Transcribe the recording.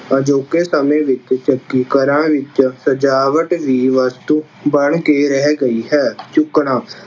ਅਜੋਕੇ ਸਮੇਂ ਵਿੱਚ ਚੱਕੀ ਘਰਾਂ ਵਿੱਚ ਸਜਾਵਟ ਦੀ ਵਸਤੂ ਬਣ ਕੇ ਰਹਿ ਗਈ ਹੈ। ਚੁੱਕਣਾ-